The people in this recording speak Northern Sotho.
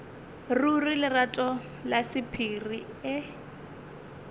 ruri lerato la sephiri e